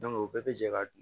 o bɛɛ bɛ jɛ ka